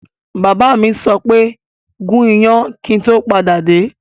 Bàbá mi sọ wípé 'gún iyán kíì tó padà dé!